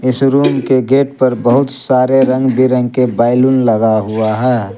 इस रूम के गेट पर बहुत सारे रंग बिरंगे बैलून लगा हुआ है।